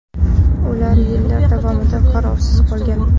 Ular yillar davomida qarovsiz qolgan.